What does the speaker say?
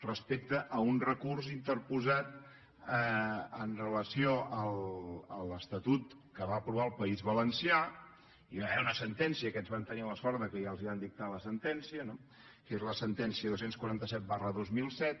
respecte a un recurs interposat amb relació a l’estatut que va aprovar el país valencià hi va haver una sentència aquests van tenir la sort que ja els van dictar la sentència no que és la sentència dos cents i quaranta set dos mil set